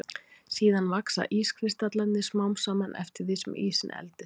Síðan vaxa ískristallarnir smám saman eftir því sem ísinn eldist.